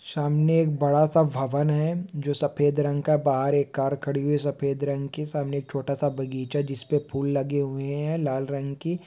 सामने एक बड़ा-सा भवन हैं। जो सफेद रंग का बाहर एक कार खड़ी हैं सफेद रंग की सामने एक छोटा-सा बगीचा जिसपे फूल लगे हुए हैं। लाल रंग की---